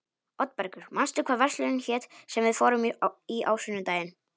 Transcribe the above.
Oddbergur, manstu hvað verslunin hét sem við fórum í á sunnudaginn?